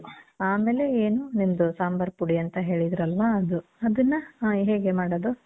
ಆಮೇಲೆ, ಏನು ನಿಮ್ದು ಸಾಂಬಾರ್ ಪುಡಿ ಅಂತ ಹೇಳಿದ್ರಲ್ವಾ? ಅದು. ಅದುನ್ನ ಆ, ಹೇಗೆ ಮಾಡೋದು?